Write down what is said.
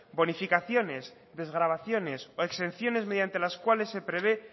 bonificaciones desgravaciones o exenciones mediante las cuales se prevé